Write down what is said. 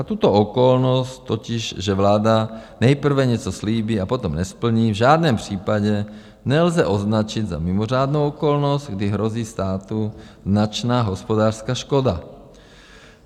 A tuto okolnost, totiž že vláda nejprve něco slíbí a potom nesplní, v žádném případě nelze označit za mimořádnou okolnost, kdy hrozí státu značná hospodářská škoda.